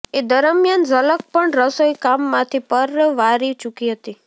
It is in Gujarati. એ દરમિયાન ઝલક પણ રસોઈ કામમાંથી પરવારી ચૂકી હતી